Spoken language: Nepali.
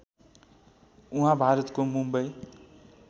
उहाँ भारतको मुम्बई